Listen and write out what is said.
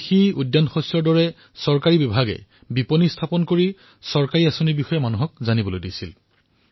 কৃষি উদ্যানশস্য আদি চৰকাৰী বিভাগসমূহৰ পৰা বিপণী মুকলি কৰা হৈছিল আৰু চৰকাৰী যোজনাৰ বিষয়ে অৱগত কৰোৱা হৈছিল